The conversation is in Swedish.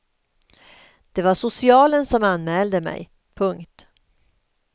Det var socialen som anmälde mig. punkt